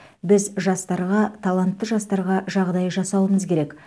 біз жастарға талантты жастарға жағдай жасауымыз керек